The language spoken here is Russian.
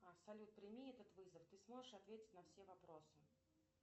салют прими этот вызов ты сможешь ответить на все вопросы